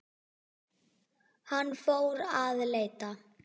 Hann fór að leita.